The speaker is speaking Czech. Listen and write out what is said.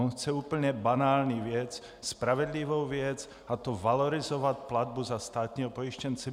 On chce úplně banální věc, spravedlivou věc, a to valorizovat platbu za státního pojištěnce.